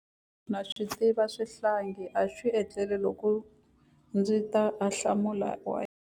Ndza swi tiva xihlangi a xi etlele loko ndzi twa ahlamulo wa yena.